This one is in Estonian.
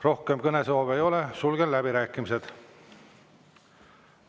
Rohkem kõnesoove ei ole, sulgen läbirääkimised.